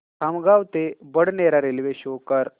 खामगाव ते Badnera railway show कर